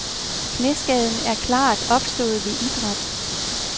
Knæskaden er klart være opstået ved idræt.